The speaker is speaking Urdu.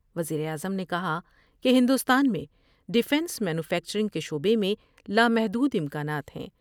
وزیر اعظم نے کہا کہ ہندوستان میں ڈفینس مینوفیکچرنگ کے شعبے میں لامحدود امکانات ہیں ۔